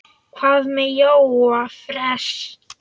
Hvað með Jóa fress?